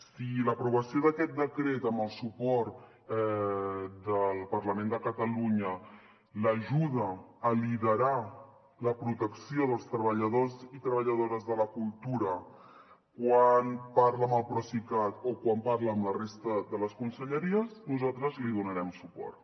si l’aprovació d’aquest decret amb el suport del parlament de catalunya l’ajuda a liderar la protecció dels treballadors i treballadores de la cultura quan parla amb el procicat o quan parla amb la resta de les conselleries nosaltres li donarem suport